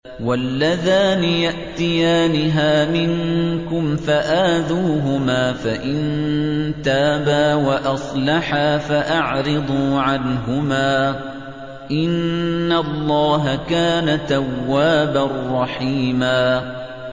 وَاللَّذَانِ يَأْتِيَانِهَا مِنكُمْ فَآذُوهُمَا ۖ فَإِن تَابَا وَأَصْلَحَا فَأَعْرِضُوا عَنْهُمَا ۗ إِنَّ اللَّهَ كَانَ تَوَّابًا رَّحِيمًا